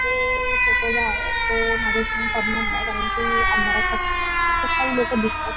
हे फोटो जो आहे तो माझ्याशी कारण कि अंधारात बसलाय आणि खूप सारी लोक दिसतात.